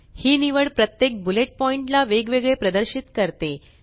ही निवड प्रत्येक bullet point ला वेगवेगळे प्रदर्शित करते